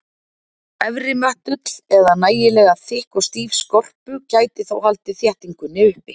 Efri möttull eða nægilega þykk og stíf skorpu gæti þó haldið þéttingunni uppi.